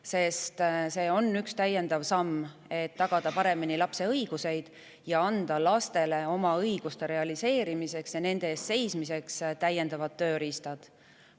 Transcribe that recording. Sest see on üks täiendav samm selleks, et tagada paremini lapse õiguseid ja anda neile oma õiguste realiseerimiseks ja nende eest seismiseks täiendavad tööriistad.